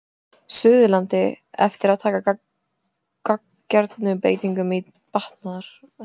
Suðurlandi eftir að taka gagngerum breytingum til batnaðar.